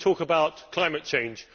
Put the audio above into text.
We talk about climate change.